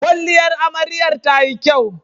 kwalliyar amaryar tayi kyau